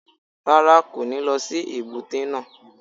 Rárá, kò ní lọ sí èbúté náà.